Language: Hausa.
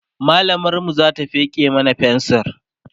mallamar mu Zata feke mana fensir